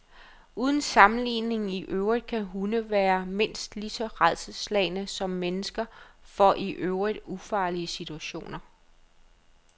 Uden sammenligning i øvrigt kan hunde være mindst lige så rædselsslagne som mennesker for i øvrigt ufarlige situationer.